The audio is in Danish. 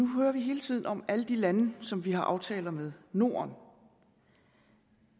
hører hele tiden om alle de lande som vi har aftaler med norden